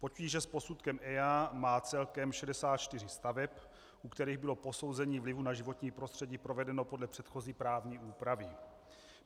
Potíže s posudkem EIA má celkem 64 staveb, u kterých bylo posouzení vlivu na životní prostřední provedeno podle předchozí právní úpravy.